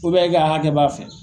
e ka hakɛ b'a fɛ.